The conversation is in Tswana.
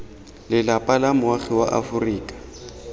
lelapa la moagi wa aforika